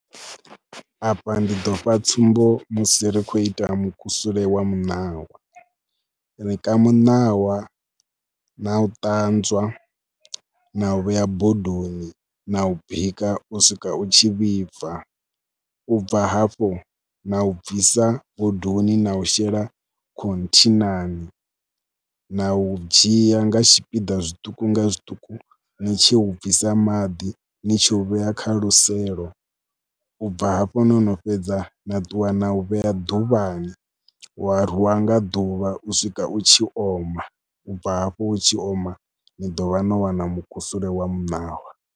Afha ndi ḓo pfha tsumbo musi ri khou ita mukusule wa muṋawa, ri ka muṋawa na u ṱanzwa na u vhea bodoni na u bika u swika u tshi vhibva. U bva hafho na u bvisa bodoni na u shela khothinani na u dzhia nga tshipiḓa zwiṱuku nga zwiṱuku ni tshi u bvisa maḓi, ni tshi u vhea kha luselo. U bva hafho no no fhedza na ṱuwa na u vhea ḓuvhani wa rwiwa nga ḓuvha u swika u tshi oma, u bva hafho u tshi oma ni ḓo vha no wana mukusule wa muṋawa.